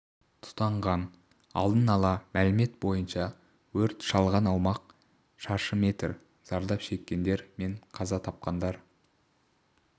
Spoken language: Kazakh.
тұтанған алдын ала мәлімет бойынша өрт шалған аумақ шаршы метр зардап шеккендер мен қаза тапқандар